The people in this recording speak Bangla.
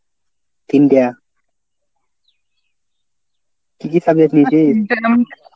তিনটা? কী কী subject নিয়েছিস?